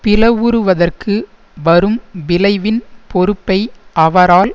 பிளவுறுவதற்கு வரும் விளைவின் பொறுப்பை அவரால்